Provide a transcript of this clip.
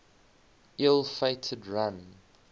ill fated run